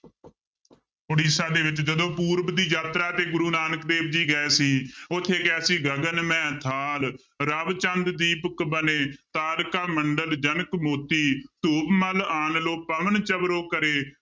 ਉੜੀਸਾ ਦੇ ਵਿੱਚ ਜਦੋਂ ਪੂਰਬ ਦੀ ਯਾਤਰਾ ਤੇ ਗੁਰੂ ਨਾਨਕ ਦੇਵ ਜੀ ਗਏ ਸੀ ਉੱਥੇ ਕਿਹਾ ਜੀ ਗਗਨ ਮਹਿ ਥਾਲ ਰਵਿ ਚੰਦ ਦੀਪਕ ਬਨੇ ਤਾਰਿਕਾ ਮੰਡਲ ਜਨਕ ਮੋਤੀ ਧੂਪ ਮਲਿਆਨਲੋ ਪਵਣ ਚਵਰੋ ਕਰੇ